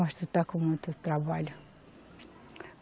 Mas tu está com muito trabalho.